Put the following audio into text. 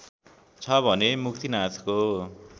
छ भने मुक्तिनाथको